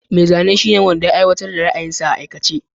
Mai zane shine wanda ya aiwatar da ra'ayinsa a aikace.